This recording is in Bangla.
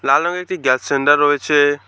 লাল রঙের একটি গ্যাস সেন্ডার রয়েছে।